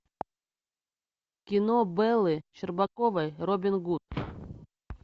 кино беллы щербаковой робин гуд